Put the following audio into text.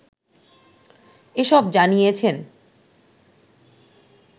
এসব জানিয়েছেন